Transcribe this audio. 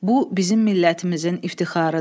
Bu bizim millətimizin iftixarıdır.